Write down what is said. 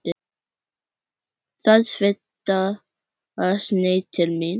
Var þetta sneið til mín?